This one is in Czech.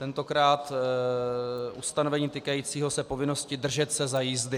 Tentokrát ustanovení týkající se povinnosti držet se za jízdy.